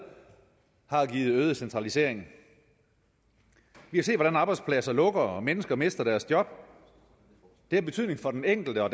har givet en øget centralisering vi har set hvordan arbejdspladser lukker og mennesker mister deres job det har betydning for den enkelte og